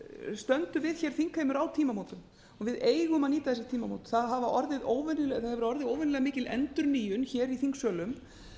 stöndum við hér þingheimur á tímamótum og við eigum að nýta þessi tímamót það hefur orðið óvenjulega mikil endurnýjun hér í þingsölum